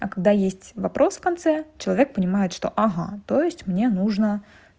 а когда есть вопрос в конце человек понимает что ага то есть мне нужно